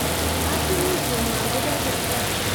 Katunisiet ngwaang kopaa kipkaa